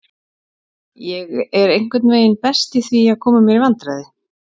Ég er einhvern veginn best í því, að koma mér í vandræði.